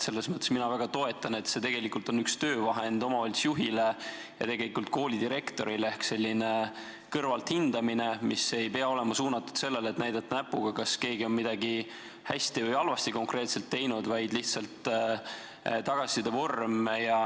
Mina seda väga toetan, see on üks töövahend omavalitsusjuhile ja koolidirektorile ehk selline kõrvalt hindamine, mis ei pea olema suunatud sellele, et näidata näpuga, kas keegi on midagi hästi või halvasti teinud, vaid see on lihtsalt tagasiside vorm.